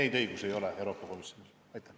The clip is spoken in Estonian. Neid õigusi Euroopa Komisjonil ei ole.